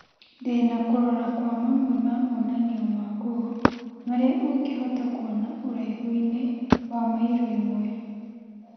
Ndĩna kũrora kwa mamwe ma monanio ma nguo marĩa ũngĩhota kuona ũraihu-inĩ wa mairo ĩmwe .